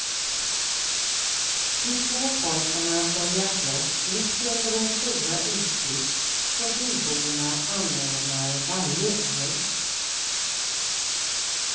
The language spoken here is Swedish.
De två pojkarna börjar slåss mitt under den stora utflykt som byborna anordnar varje år.